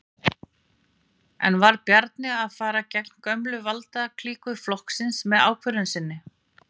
En var Bjarni að fara gegn gömlu valdaklíku flokksins með ákvörðun sinni?